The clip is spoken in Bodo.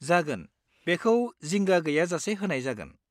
जागोन, बेखौ जिंगा गैयाजासे होनाय जागोन।